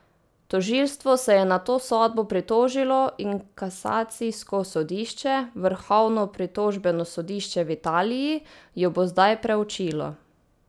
Tožilstvo se je na to sodbo pritožilo in kasacijsko sodišče, vrhovno pritožbeno sodišče v Italiji, jo bo zdaj preučilo.